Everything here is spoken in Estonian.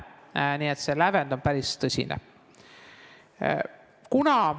Nii et see lävend on päris tõsine.